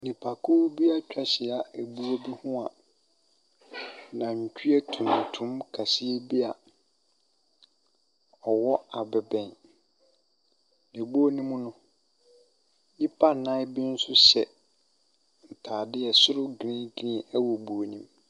Nnipakuo bi atwa ahyia buo bi ho a, nantwie tuntum kɛseɛ bi a ɔwɔ abɛbɛn, buo ne mu no, nnipa nnan bi nso hyɛ ntaade soro green green wɔ buo ne mu.